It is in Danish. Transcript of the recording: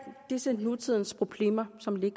disse nutidige problemer som vi